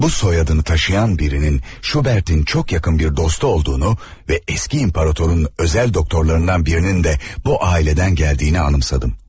Bu soyadını daşıyan birinin Şubertin çox yaxın bir dostu olduğunu və eski imparatorun özel doktorlarından birinin də bu aileden geldiğini anımsadım.